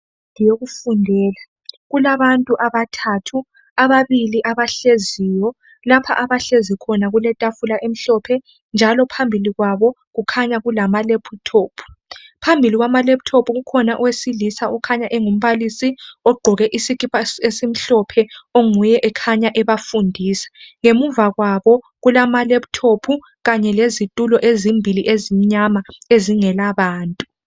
Indlu yokufundela kulabantu abathathu ababili abahleziyo lapho abahlezi khona kuletafula emhlophe njalo phambili kwabo kukhanya kulama lephuthophu phambili kwamalephuthophu kukhona owesilisa okukhanya engumbalisi ogqoke isikipa esimhlophe onguye okhanya ebafundisa ngemuva kwabo kulamalephuthophu lezitulo ezimbili ezimyama ezingela bantu